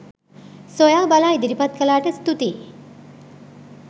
සොයා බලා ඉදිරිපත් කළාට ස්තුතියි